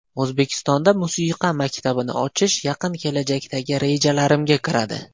O‘zbekistonda musiqa maktabini ochish yaqin kelajakdagi rejalarimga kiradi.